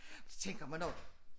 Så tænker man også